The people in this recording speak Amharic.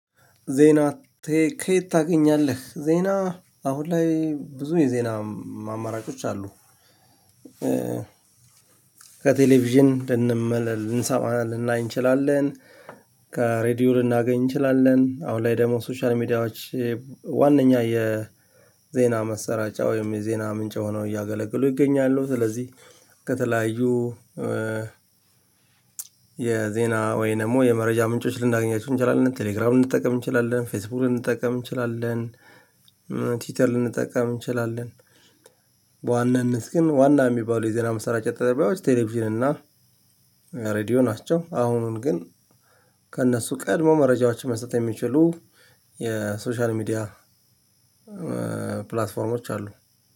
ዜና? ከየት ታገኛለህ ዜና አሁን ላይ ብዙ የዜና አማራጮች አሉ። ከቴሌቪዥን ልንሰማ ልንናይ እንችላለን። ከሬዲዮ ልናገኝ እንችላለን አሁን ላይ ደግሞ ሶሻል ሚዲያዎች ዋናኛ የዜና መሰረጫ ወይም የዜና ምንጭ ሆኖ እያገለገሉ ይገኛሉ። ስለዚህ ከተለያዩ የዜና ወይ ደግሞ የመረጃ ምንጮች ልናገኛችሁ እንችላለን ቴሌግራም ልንጠቀም እንችላለን ፌስቡክ ልንጠቀም እንችላለን። ቲዩተር ልንጠቀም እንችላለን። በዋናነት ግን ዋና የሚባሉ የዜና ማሰራጪያ ጣቢያዎች ቴሌቪዥን እና ሬዲዮ ናቸው። አሁን ግን ከእነሱ ቀድሞ መረጃዎችን መስጠት የሚችሉ የሶሻል ሚዲያ ፕላትፎርሞች አሉ።